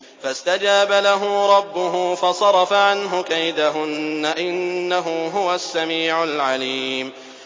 فَاسْتَجَابَ لَهُ رَبُّهُ فَصَرَفَ عَنْهُ كَيْدَهُنَّ ۚ إِنَّهُ هُوَ السَّمِيعُ الْعَلِيمُ